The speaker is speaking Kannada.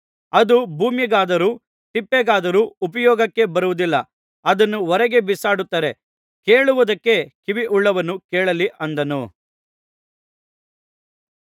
ಅದು ಭೂಮಿಗಾದರೂ ತಿಪ್ಪೆಗಾದರೂ ಉಪಯೋಗಕ್ಕೆ ಬರುವುದಿಲ್ಲ ಅದನ್ನು ಹೊರಗೆ ಬಿಸಾಡುತ್ತಾರೆ ಕೇಳುವುದಕ್ಕೆ ಕಿವಿಯುಳ್ಳವನು ಕೇಳಲಿ ಅಂದನು